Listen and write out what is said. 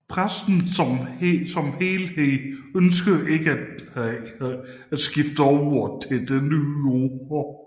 Pressen som helhed ønskede ikke at skifte over til det nye ord